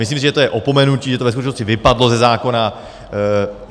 Myslím si, že to je opomenutí, že to ve skutečnosti vypadlo ze zákona.